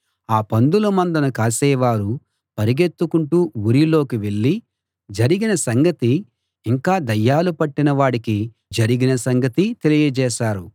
ఆ పందుల మందను కాసేవారు పరిగెత్తుకుంటూ ఊరిలోకి వెళ్ళి జరిగిన సంగతి ఇంకా దయ్యాలు పట్టిన వాడికి జరిగిన సంగతీ తెలియజేశారు